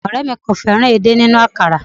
Òré mi kò fẹ́ràn èdè nínú àkàrà